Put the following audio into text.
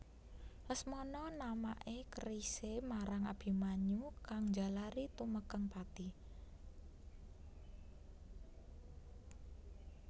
Lesmana namaké kerisé marang Abimanyu kang njalari tumekèng pati